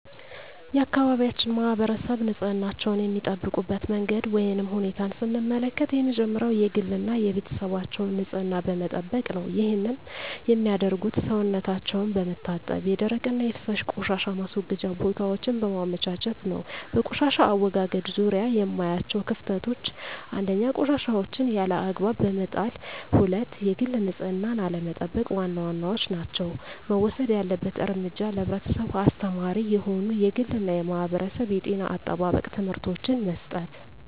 የአካባቢያችን ማህበረሰብ ንፅህናቸዉን የሚጠብቁበት መንገድ ወይም ሁኔታን ስንመለከት የመጀመሪያዉ የግል እና የቤተሰባቸዉን ንፅህና በመጠበቅ ነዉ ይህንንም የሚያደርጉት ሰዉነታቸዉን በመታጠብ የደረቅና የፈሳሽ ቆሻሻ ማስወገጃ ቦታወችን በማመቻቸት ነዉ። በቆሻሻ አወጋገድ ዙሪያ የማያቸዉ ክፍተቶች፦ 1. ቆሻሻወችን ያለ አግባብ በመጣልና 2. የግል ንፅህናን አለመጠቅ ዋና ዋናወቹ ናቸዉ። መወሰድ ያለበት እርምጃ ለህብረተሰቡ አስተማሪ የሆኑ የግልና የማህበረሰብ የጤና አጠባበቅ ትምህርቶችን መስጠት።